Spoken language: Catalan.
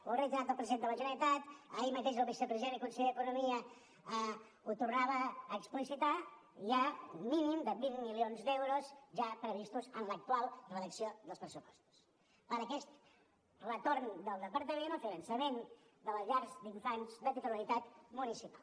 ho ha reiterat el president de la generalitat i ahir mateix el vicepresident i conseller d’economia ho tornava a explicitar hi ha un mínim de vint milions d’euros ja previstos en l’actual redacció dels pressupostos per a aquest retorn del departament al finançament de les llars d’infants de titularitat municipal